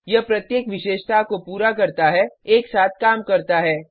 यह प्रत्येक विशेषता को पूरा करता है एक साथ काम करता है